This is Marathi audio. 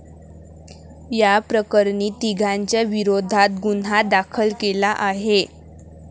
याप्रकरणी तिघांच्या विरोधात गुन्हा दाखल केला आहे.